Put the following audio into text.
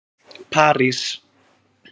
París